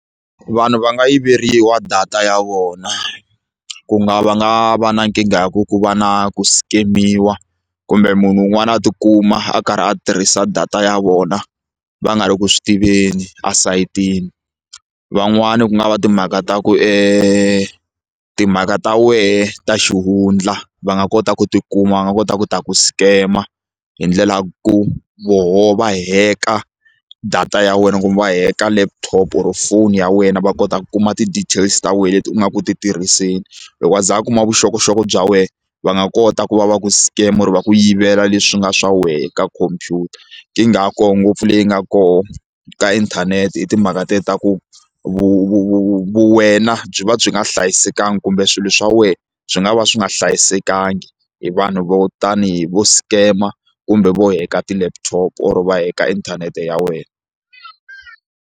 Vanhu va nga yiveriwa data ya vona ku nga va nga va na nkingha ku ku va na ku scam-iwa kumbe munhu un'wana a tikuma a karhi a tirhisa data ya vona va nga ri ku swi tiveni esayitini van'wani ku nga va timhaka ta ku e timhaka ta wehe ta xihundla va nga kota ku ti kuma va nga kota ku ta ku scammer hi ndlela ya ku voho va heka data ya wena kumbe va heka laptop or foni ya wena va kota ku kuma ti-details ta wena leti u nga ku ti tirhiseni loko a za a kuma vuxokoxoko bya wena va nga kota ku va va ku scam or va ku yivela leswi nga swa wena ka khompyuta nkingha ya koho ngopfu leyi nga kona ka inthanete i timhaka te ta ku vuwena byi va byi nga hlayisekangi kumbe swilo swa wena byi nga va swi nga hlayisekangi hi vanhu vo tanihi vo scammer kumbe vo heka ti-laptop or va heka inthanete ya wena.